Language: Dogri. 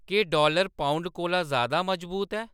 केह् डॉलर पाउंड कोला ज़्यादा मजबूत ऐ